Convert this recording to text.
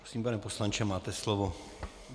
Prosím, pane poslanče, máte slovo.